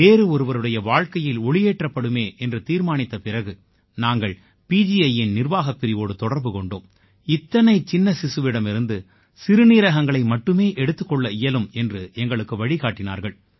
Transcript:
வேறு ஒருவருடைய வாழ்க்கையில் ஒளியேற்றப்படுமே என்று தீர்மானித்த பிறகு நாங்கள் PGIயின் நிர்வாகப் பிரிவோடு தொடர்பு கொண்டோம் இத்தனைச் சின்ன சிசுவிடமிருந்து சிறுநீரகங்களை மட்டுமே எடுத்துக் கொள்ள இயலும் என்று எங்களுக்கு வழிகாட்டினார்கள்